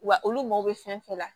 Wa olu mago bɛ fɛn fɛn la